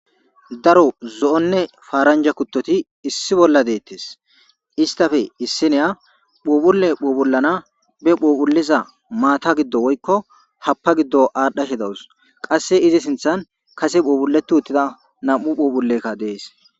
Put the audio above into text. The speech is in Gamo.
Daro zo'onne faaranja kuttoti issi bolla deettes istafe issineya phuphulle phuphullana be phuophuliza maata giddo woykko happa giddo aadhashe dawus qasse izi sinthan kase phuobhuleti uttida nam7u phuphulekka dees.